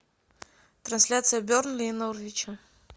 трансляция бернли и норвича